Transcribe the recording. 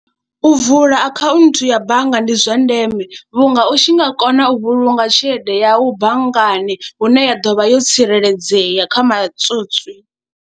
U vula akhaunthu ya bannga ndi zwa ndeme vhunga u tshi nga kona u vhulunga tshelede yau banngani hune ya ḓo vha yo tsireledzea kha matswotswi.